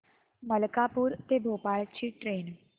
मलकापूर ते भोपाळ ची ट्रेन